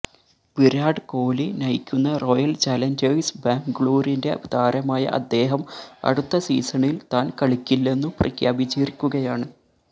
വിരാട് കോലി നയിക്കുന്ന Royal Challengers ബാംഗ്ലൂരിന്റെ താരമായ അദ്ദേഹം അടുത്ത സീസണില് താന് കളിക്കില്ലെന്നു പ്രഖ്യാപിച്ചിരിക്കുകയാണ്